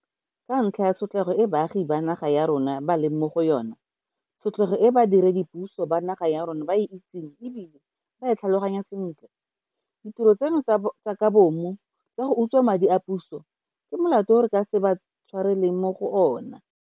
Ka ntlha ya tshotlego e baagi ba naga ya rona ba leng mo go yona, tshotlego e badiredipuso ba naga ya rona ba e itseng e bile ba e tlhaloganya sentle, ditiro tseno tsa ka bomo tsa go utswa madi a puso ke molato o re ka se ba tshwareleng mo go ona.